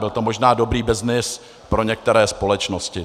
Byl to možná dobrý byznys pro některé společnosti.